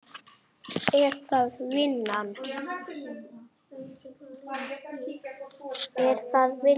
Er það vinnan?